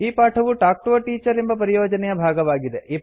ಈ ಪಾಠವು talk to a teacher ಎಂಬ ಪರಿಯೋಜನೆಯ ಭಾಗವಾಗಿದೆ